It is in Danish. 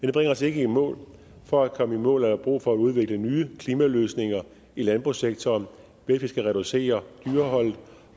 det bringer os ikke i mål for at komme i mål er der brug for at udvikle nye klimaløsninger i landbrugssektoren hvilket skal reducere dyreholdet